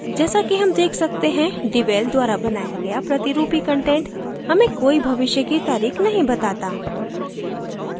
जैसा कि हम देख सकते हैं devel द्वारा बनाया गया प्रतिरूपी कंटेंट हमें कोई भविष्य की तारीख नहीं बताता